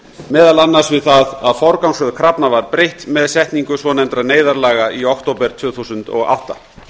meðal annars við það að forgangsröð krafna var breytt með setningu svonefndra neyðarlaga í október tvö þúsund og átta